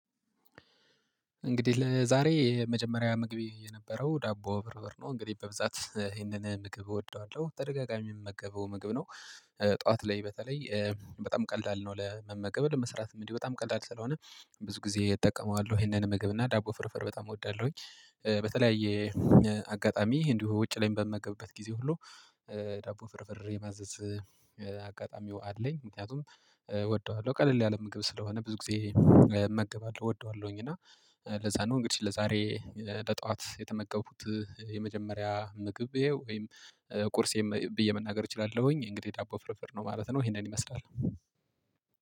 እንግዲህ ለዛሬ የመጀመሪያ ምግብ የነበረው ዳቦ ፍርፍር ነው እንግዲህ በብዛት ይሄንን ምግብ እወደዋለሁ ተደጋጋሚ የምመገበው ምግብ ነው። ጠዋት ላይ በተለይ በጣም ቀለል ነው ለመመገብ ለመስራትም እንዲህ በጣም ቀላል ስለሆነ ብዙ ጊዜ እጠቀመዋለሁ ይሄንን ምግብ እና ዳቦ ፍርፍር በጣም እወዳለሁኝ። በተለያየ አጋጣሚ እንዲሁ ውጭ ላይ በምመገብበት ጊዜ ሁሉ ዳቦ ፍርፍሬ ማዘዝ አጋጣሚው አለኝ። ምክንያቱም እወደዋለሁ ቀለል ያለ ምግብ ስለሆነ ብዙ ጊዜ እመገባለሁ እወደዋለሁኝ እና ለዚያ ነው። እንግዲህ ለዛሬ ለጠዋት የተመገቡት የመጀመሪያ ምግቤ ወይም ቁርሴም ብዬ መናገር እችላለሁኝ እንግዲህ ዳቦ ፍርፍር ነው ማለት ነው። ይሄንን ይመስላል